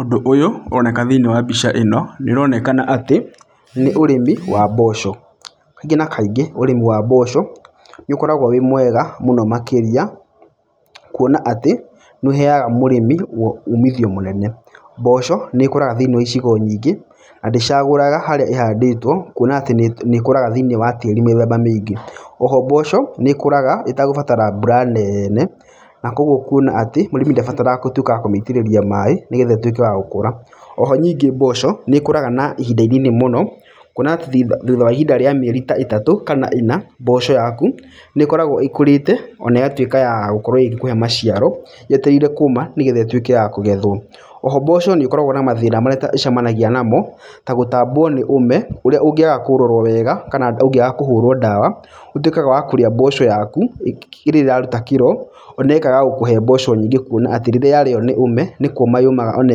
Ũndũ ũyũ ũroneka thĩinĩ wa mbica ĩno, nĩ ũronekana atĩ nĩ ũrĩmi wa mboco, kaingĩ na kaingĩ ũrĩmi wa mboco nĩ ũkoragwo wĩmwega mũno makĩria, kuona atĩ nĩ ũheyaga mũrĩmi umithio mũnene, mboco nĩkoraga thĩinĩ wa icigo nyingĩ, na ndĩcagũraga harĩa ĩhandĩtwo kuona atĩ nĩ ĩkoraga thĩinĩ wa tĩri mĩthemba maingĩ, oho mboco nĩ ĩkũraga ĩtegũbatara mbura nene, na kwoguo kuona atĩ mũrĩmi ndabatara wagutuĩka wa kũmĩitĩrĩria maĩ nĩgetha ĩtuĩke ya gũkũra, oho nyingĩ mboco nĩ ĩkũraga na ihinda inini mũno, kuona atĩ thutha wa ihinda rĩa mĩeri ta ĩtatũ, kana ĩna, mboco yaku nĩ ĩkoragwo ĩkũrĩte, ona ĩgatuĩka ya gũkorwo ĩgĩkũhe maciaro, yetereire kũũma nĩgetha ĩtuĩke ya kũgethwo, oho mboco nĩkoragwo na mathĩna marĩa ĩta ĩcemanagia namo, ta gũtambwo nĩ ũme ũrĩa ũngĩaga kũrorwo wega, kana ũngĩaga kũhũrwo ndawa, ũtuĩkaga wa kũrĩa mboco yaku rĩrĩa ĩrarujta kĩro, ona ĩkaga gũkũhe mboco nyingĩ, kuona atĩ rĩrĩa yarĩyo nĩ ũme, nĩ kũũma yũmaga, ona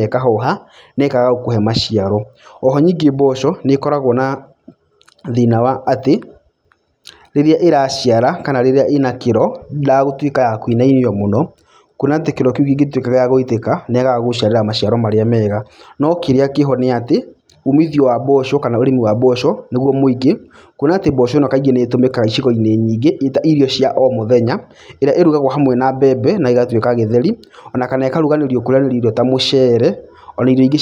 ĩkahoha, nekaga gũkũhe maciaro, oho nyingĩ mboco nĩ ĩkoragwo na thĩna wa atĩ, rĩrĩa ĩraciara, kana rĩrĩa ĩna kĩro, ndĩendaga gũtuĩka ya kũinainio mũno, kuona atĩ kĩro kĩu kĩngĩtuĩka gĩa gũitĩka, nĩ yagaga gũgũciarĩra maciaro marĩa mega, no kĩrĩa kĩho nĩatĩ, ũmithio wa mboco kana ũrĩmi wa mboco, nĩguo mwĩingĩ, kuona atĩ mboco ĩno kaingĩ nĩ ĩtũmĩkaga icigo-inĩ nyingĩ ĩta irio cia o mũthenya, ĩrĩa ĩrugagwo hamwe na mbembe na ĩgatuĩka gĩtheri, onakana ĩkaruganĩrio kũrĩyanĩria irio ta mũcere, ona irio ingĩ ci